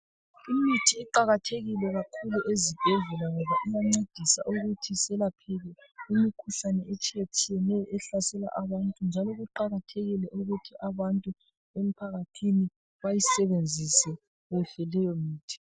Imithi iqakathekile kakhulu ezibhedlela ngoba iyancedisa ukuthi selapheke imikhuhlane etshiyetshiyeneyo ehlasela abantu njalo kuqakathekile ukuthi abantu emphakathini bayisebenzisa kuhle leyo mithi.